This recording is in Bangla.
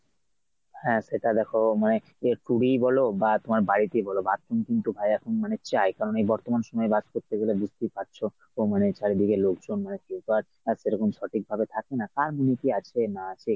হ্যাঁ সেটা দেখ মানে তোমার tour ই বল বা তোমার বাড়িতেই বল bathroom কিন্তু ভাই এখন মানে চাই কারণ এই বর্তমান সময়ে বাস করতে গেলে বুঝতেই পারছ community এর চারিদিকে লোকজন মানে কেউ তো আর এরকম সঠিকভাবে থাকি না কার মনে কী আছে না আছে?